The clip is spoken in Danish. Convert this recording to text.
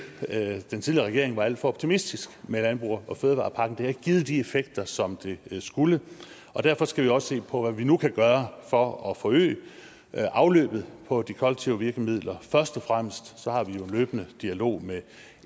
at den tidligere regering var alt for optimistisk med landbrugs og fødevarepakken det har ikke givet de effekter som det skulle derfor skal vi også se på hvad vi nu kan gøre for at forøge afløbet på de kollektive virkemidler først og fremmest har vi jo en løbende dialog med